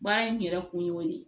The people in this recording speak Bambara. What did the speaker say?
Baara in yɛrɛ kun y'o de ye